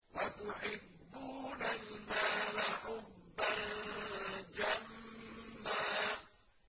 وَتُحِبُّونَ الْمَالَ حُبًّا جَمًّا